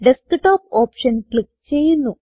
desktop option click ചെയ്യുന്നു